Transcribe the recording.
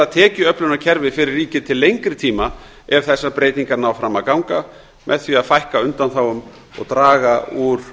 tekjuöflunarkerfi fyrir ríkið til lengri tíma ef þessar breytingar ná fram að ganga með því að fækka undanþágum og draga úr